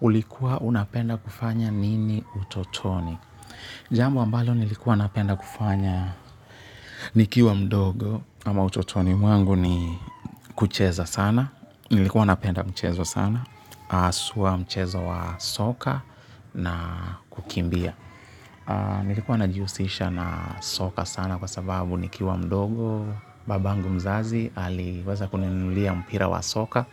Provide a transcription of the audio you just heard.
Ulikuwa unapenda kufanya nini utotoni. Jambo ambalo nilikuwa napenda kufanya nikiwa mdogo ama utotoni mwangu ni kucheza sana. Nilikuwa napenda mchezo sana. Haswa mchezo wa soka na kukimbia. Nilikuwa najiusisha na soka sana kwa sababu nikiwa mdogo. Babangu mzazi aliweza kununulia mpira wa soka.